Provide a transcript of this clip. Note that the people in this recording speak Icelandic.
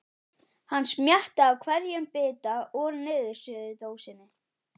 Hann smjattaði á hverjum bita úr niðursuðudósinni.